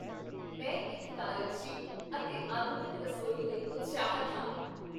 ਮੈਂ ਇੱਕ ਕਾਰਜਸ਼ੀਲ ਅਤੇ ਆਧੁਨਿਕ ਰਸੋਈ ਲਈ ਉਤਸ਼ਾਹਿਤ ਹਾਂ।